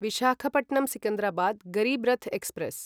Visakhapatnam Secunderabad Garib Rath express